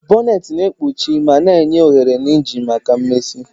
Bonneti na-ekpuchi ma na-enye ohere na engine maka mmezi.